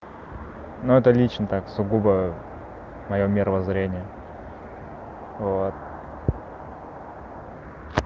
но это лично так сугубо моё мировоззрение вот